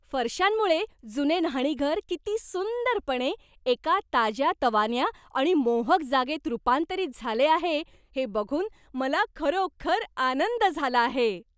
फरशांमुळे जुने न्हाणीघर किती सुंदरपणे एका ताज्यातवान्या आणि मोहक जागेत रूपांतरित झाले आहे हे बघून मला खरोखर आनंद झाला आहे.